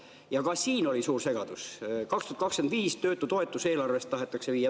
Ja ka siin oli suur segadus, 2025 tahetakse töötutoetus viia eelarvest töötukassa alla.